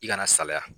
I kana salaya